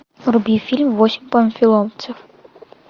вруби фильм восемь панфиловцев